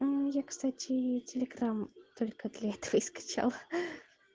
я кстати телеграмм только для этого и скачала